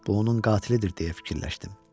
Bu onun qatilidir, deyə fikirləşdim.